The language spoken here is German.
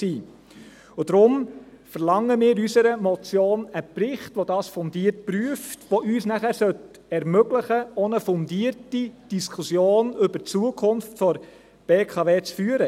Deshalb verlangen wir in unserer Motion einen Bericht, der dies fundiert prüft, der uns dann ermöglichen sollte, auch eine fundierte Diskussion über die Zukunft der BKW zu führen.